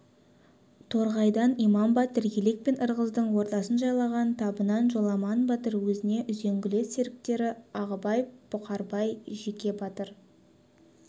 торғайдан иман батыр елек пен ырғыздың ортасын жайлаған табыннан жоламан батыр өзінің үзеңгілес серіктері ағыбай бұқарбай жеке батыр